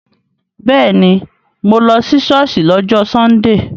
Bẹ́ẹ̀ni, mo lọ ṣọ́ọ̀ṣì lọ́jọ́ sọ́ndè